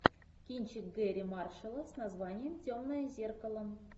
кинчик гэрри маршалла с названием темное зеркало